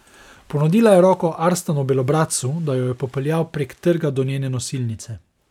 Ponudila je roko Arstanu Belobradcu, da jo je popeljal prek trga do njene nosilnice.